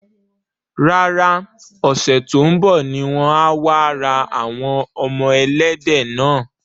Rárá, Ọ̀sẹ̀ tó ń bọ̀ ni wọ́n á wá ra àwọn ọmọ ẹlẹ́dẹ̀ náà.